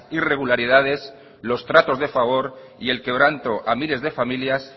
irregularidades los tratos de favor y el quebranto a miles de familias